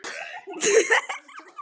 Alltof nærri.